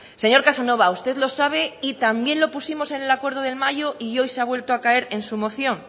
señor casanova usted lo sabe y también lo pusimos en el acuerdo de mayo y hoy se ha vuelto a caer en su moción